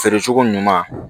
Feere cogo ɲuman